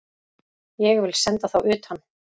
Ég vil senda þá utan!